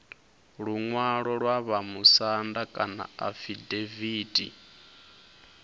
luṅwalo lwa vhamusanda kana afidaviti